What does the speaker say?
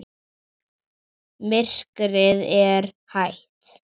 Myrkrið er heitt.